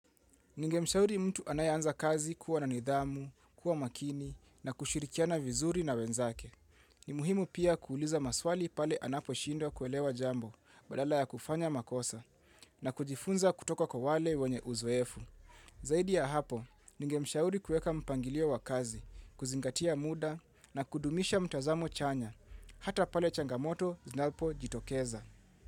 Ningemshauri mtu anayeanza kazi kuwa na nidhamu, kuwa makini na kushirikiana vizuri na wenzake. Ni muhimu pia kuuliza maswali pale anaposhindo kuelewa jambo badala ya kufanya makosa na kujifunza kutoka kwa wale wenye uzoefu. Zaidi ya hapo, nengemshauri kueka mpangilio wa kazi, kuzingatia muda na kudumisha mtazamo chanya, hata pale changamoto zinapojitokeza.